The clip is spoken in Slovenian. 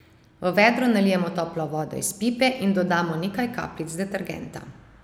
V vedro nalijemo toplo vodo iz pipe in dodamo nekaj kapljic detergenta.